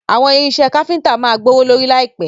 Àwọn irinṣẹ́ káfíntà máa gbówó lórí láìpẹ̀.